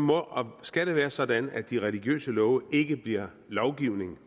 må og skal det være sådan at de religiøse love ikke bliver lovgivning